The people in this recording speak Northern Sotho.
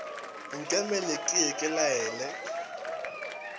nkemele ke ye ke laele